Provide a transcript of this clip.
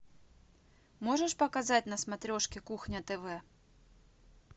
можешь показать на смотрешке кухня тв